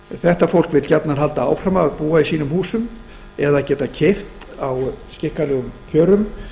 þetta fólk vill gjarnan halda áfram að búa í húsum sínum eða geta keypt á skikkanlegum kjörum